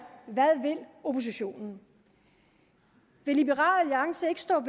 hvad vil oppositionen vil liberal alliance ikke stå